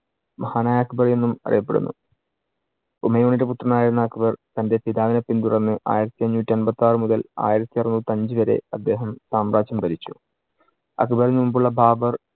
മഹാനായ അക്ബർ എന്നും അറിയപ്പെടുന്നു. ഹുമയൂണിന്‍റെ പുത്രൻ ആയിരുന്ന അക്ബർ തന്‍റെ പിതാവിനെ പിന്തുടർന്ന് ആയിരത്തി അഞ്ഞൂറ്റി അമ്പത്തിയാറു മുതൽ ആയിരത്തിഅറുനൂറ്റി അഞ്ചു വരെ അദ്ദേഹം സാമ്രാജ്യം ഭരിച്ചു. അക്ബറിനു മുമ്പുള്ള ബാബര്‍